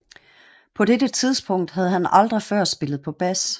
På dette tidpunkt havde han aldrig før spillet på bas